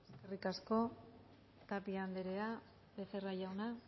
eskerrik asko tapia anderea becerra jauna